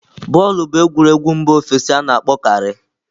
Bọọlụ bụ egwuregwu mba ofesi a na-akpọkarị.